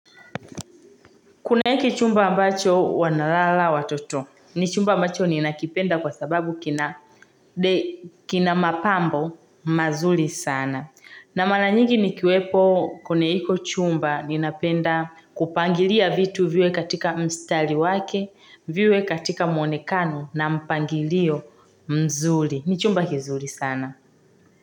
Kuna hiki chumba ambacho wanalala watoto, ni chumba ambacho ni nakipenda kwa sababu kina mapambo mazuri sana. Na mara nyigi ni kiwepo kwenye hicho chumba ni napenda kupangilia vitu viwe katika mstali wake, viwe katika muonekano na mpangilio mzuri. Ni chumba kizuri sana.